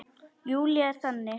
Júlía er þannig.